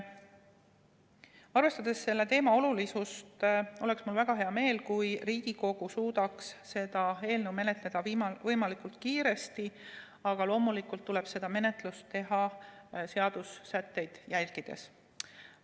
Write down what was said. Arvestades selle teema olulisust, oleks mul väga hea meel, kui Riigikogu suudaks seda eelnõu menetleda võimalikult kiiresti, aga loomulikult tuleb seda menetlust teha seadusesätteid järgides.